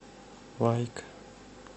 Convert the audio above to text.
лайк